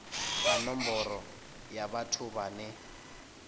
ta nomboro ya vhathu vhane